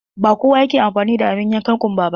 Ba kowa ke amfani da abun yankan ƙunba ba.